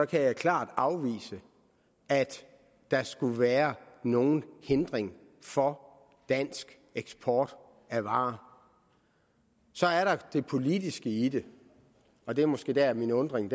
kan jeg klart afvise at der skulle være nogen hindring for dansk eksport af varer så er der det politiske i det og det er måske dér min forundring